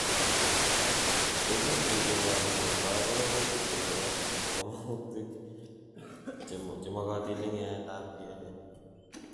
Tekutichu kokochin borto ororutik kochob komong'utik chemokotin en yaetab DNA.